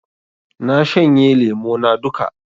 Na shanye lemo na duka